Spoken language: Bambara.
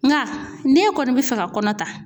Nga ne kɔni bɛ fɛ ka kɔnɔ ta